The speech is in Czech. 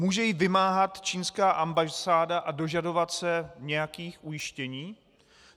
Může ji vymáhat čínská ambasáda a dožadovat se nějakých ujištění?